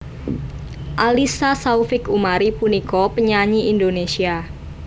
Alyssa Saufik Umari punika penyanyi Indonesia